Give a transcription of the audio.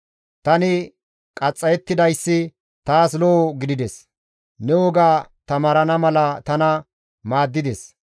Tani qaxxayettidayssi taas lo7o gidides; ne woga taamarana mala tana maaddides.